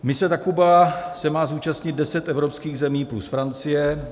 Mise Takuba se má zúčastnit deset evropských zemí plus Francie.